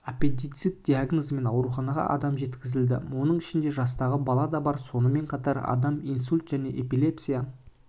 аппендицит диагнозымен ауруханаға адам жеткізілді оның ішінде жастағы балада бар сонымен қатар адам инсульт және эпилепсия